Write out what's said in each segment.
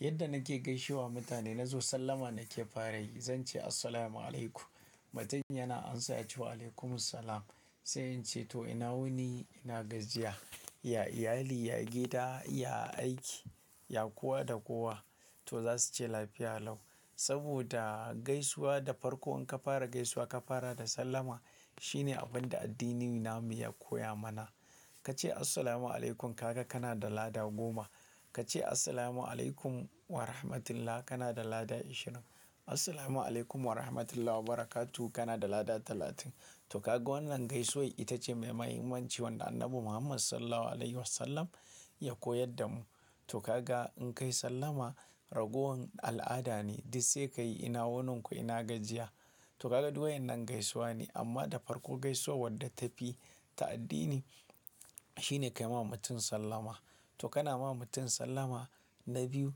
Yadda nake gaishewa mutane, na zo sallama nake fara yi. Zance "assalamualaikum", mutumin yana amsa ya ce "waalaikumussalam". Sai in ce "to ina wuni, ina gajiya, ya iyali, ya gida, ya aiki, ya kowa da kowa", to za su ce "lafiya lau". Saboda gaisuwa da farkon in ka fara gaisuwa ka fara da sallama shine abin da addininmu ya koya mana. Ka ce "assalamualaikum" ka ga kana da lada goma. Ka ce "assalamualaikum warahmatullah" kana da lada ashirin. "Assalamualaikum warahmatullahi wabarakatuh" kana da lada talatin. To ka ga wannan gaisuwai ita ce mai mahimmanci wanda Annabi Muhammad Sallallahu Alaihi Wasallam ya koyar da mu. To ka ga in kai sallama ragowar al'ada ne. Duk sai ka yi "ina wuni ku ina gajiya". To ka ga duk wayen nan gaisuwa ne amma da farko gaisuwa wadda ta fi ta addini shine ka yi ma mutum sallama. To kana ma mutum sallama na biyu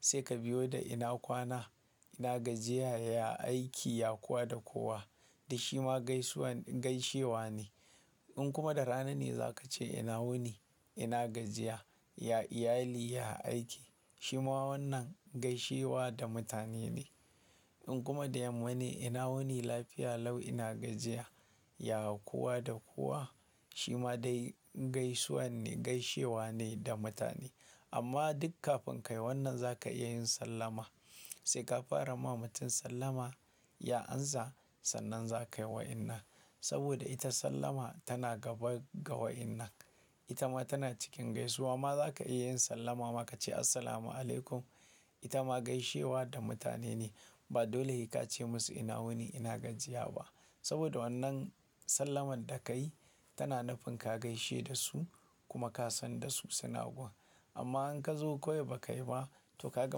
sai ka biyo da "ina kwana, ina gajiya, ya aiki, ya kowa da kowa". Duk shi ma gaisuwa gaishewa ne. In kuma da rana ne za ka ce "ina wuni, ina gajiya, ya iyali, ya aiki", shi ma wannan gaishewa da mutane ne. In kuma da yamma ne "ina wuni, lafiya lau, ina gajiya, ya kowa da kowa", shi ma dai gaisuwa ne, gaishewa ne da mutane. Amma duk kafin ka yi wannan za ka iya yin sallama. Sai ka fara ma mutum sallama ya amsa sannan za ka yi waƴannan. Saboda ita sallama tana gaba ga waƴannan. Ita ma tana cikin gaisuwa. Ma za ka iya yin sallama ma ka ce "assalamualaikum"? Ita ma gaishewa da mutane ne. Ba dole sai ka ce musu "ina wuni, ina gajiya" ba. Saboda wannan sallamar da ka yi tana nufin ka gaishe da su kuma ka san da su suna gun. Amma in ka zo koyo ba kai ba, to ka ga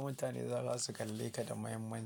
mutane za su kalle ka da mahimmanci.